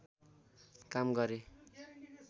काम गरे